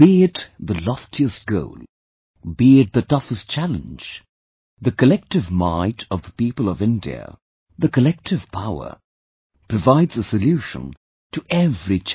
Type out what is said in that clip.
Be it the loftiest goal, be it the toughest challenge, the collective might of the people of India, the collective power, provides a solution to every challenge